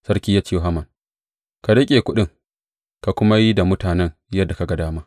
Sarki ya ce wa Haman, Ka riƙe kuɗin, ka kuma yi da mutanen yadda ka ga dama.